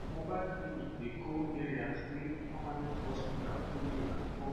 mobile clinic dey go areas wey permanent hospital no dey at all